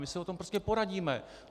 My se o tom prostě poradíme.